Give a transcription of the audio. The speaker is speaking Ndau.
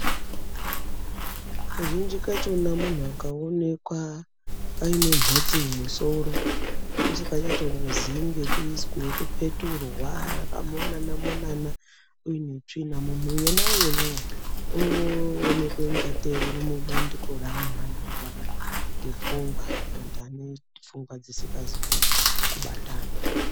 Kazhinji kachona munhu akaoneka aine mhotsi mumusoro usikachatomuzii ngekupeturwa akamonana-monana uinetsvina. Munhu yenayenawo unoonekwe ingatei urimubandiko reanhu anorwara ngepfungwa kana kuti anepfungwa dzisingazi kubatana.